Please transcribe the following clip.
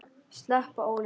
Sleppa ólinni.